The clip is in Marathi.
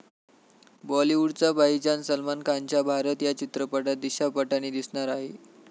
बॉलिवूडचा भाईजान सलमान खानच्या भारत या चित्रपटात दिशा पटानी दिसणार आहे.